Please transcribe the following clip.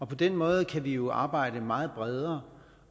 på den måde kan vi jo arbejde meget bredere